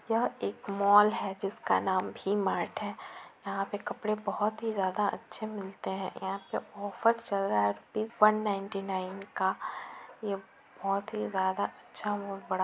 यह एक मॉल है जिस का नाम वी-मार्ट है यहाँ पे कपड़े बहुत ही ज्यादा अच्छे मिलते हैं यहाँ पे ऑफ़र चल रहा है रुपीस बन नाइनटी नाइन का ये बहुत ही ज्यादा अच्छा और बड़ा।